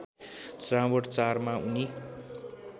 श्रावण ४मा उनी